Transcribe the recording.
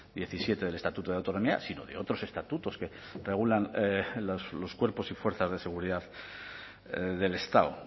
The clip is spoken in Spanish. diecisiete del estatuto de autonomía sino de otros estatutos que regulan los cuerpos y fuerzas de seguridad del estado